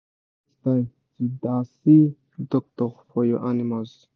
make you set time to da see doctor for your animals